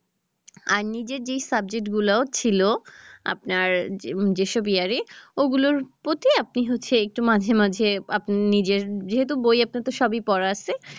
আর নিজের যেই subject গুলো ছিল আপনার যেসব year এ ওগুলোর প্রতি আপনি হচ্ছে একটু মাঝেমাঝে আপনি নিজের যেহেতু বই আপনার তো সবই পড়া আছে